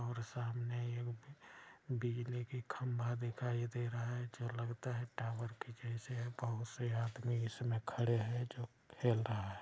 और सामने एक बिजली कि खंभा दिखाई दे रहा है जो लगता है टावर के जैसा है। बहुत से आदमी इसमे खड़े हैं जो खेल रहा है।